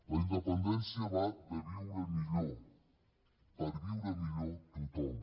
la independència va de viure millor per viure millor tothom